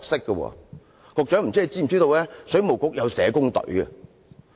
局長，你知不知道水務局有社工隊？